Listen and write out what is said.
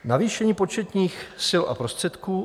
Navýšení početních sil a prostředků.